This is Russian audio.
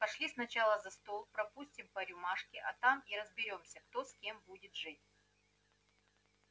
пошли сначала за стол пропустим по рюмашке а там и разберёмся кто с кем будет жить